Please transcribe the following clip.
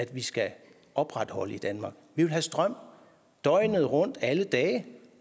vi skal opretholde i danmark vi vil have strøm døgnet rundt alle dage